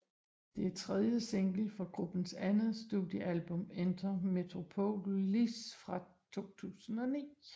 Det er tredje single fra gruppens andet studiealbum Enter Metropolis fra 2009